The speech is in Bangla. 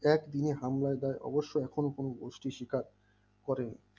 এক হামলায় তাই অবশ্য এখন কোন গোষ্ঠী শিকার করেনি